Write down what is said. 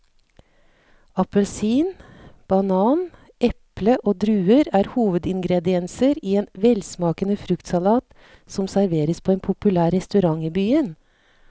Appelsin, banan, eple og druer er hovedingredienser i en velsmakende fruktsalat som serveres på en populær restaurant i byen.